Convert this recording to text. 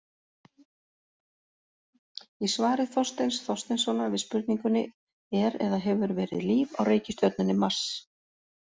Í svari Þorsteins Þorsteinssonar við spurningunni Er eða hefur verið líf á reikistjörnunni Mars?